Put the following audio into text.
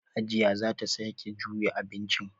Hajiya za ta sake juya abincin.